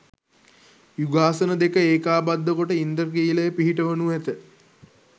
යුගාසන දෙක ඒකාබද්ධ කොට ඉන්ද්‍රඛිලය පිහිටවනු ඇත.